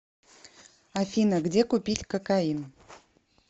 афина где купить кокаин